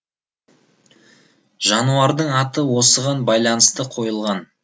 жануардың аты осыған байланысты қойылған